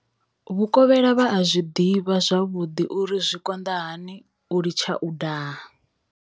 Vhukovhela vha a zwi ḓivha zwavhuḓi uri zwi konḓa hani u litsha u daha.